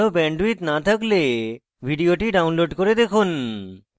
ভাল bandwidth না থাকলে ভিডিওটি download করে দেখুন